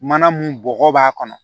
Mana mun bɔgɔ b'a kɔnɔ